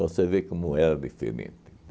vê como era diferente.